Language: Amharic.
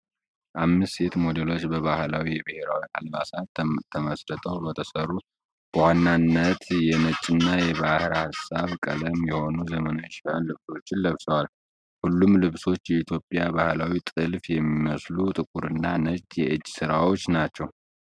አምስት ሴት ሞዴሎች በባህላዊ የብሔራዊ አልባሳት ተመስርተው በተሰሩ፣ በዋነኛነት ነጭና የባህር ሐሳብ ቀለም የሆኑ ዘመናዊ ፋሽን ልብሶችን ለብሰዋል። ሁሉም ልብሶች የኢትዮጵያን ባህላዊ ጥልፍ የሚመስሉ ጥቁርና ነጭ የእጅ ሥራዎች አላቸው።